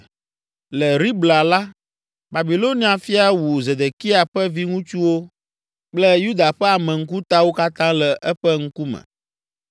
Le Ribla la, Babilonia fia wu Zedekia ƒe viŋutsuwo kple Yuda ƒe ame ŋkutawo katã le eƒe ŋkume.